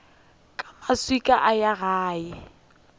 ka maswika a ya gae